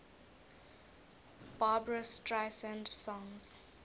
barbra streisand songs